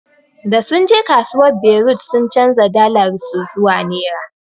Da sunje kasuwar berut sun chanja dalar su zuwa naira.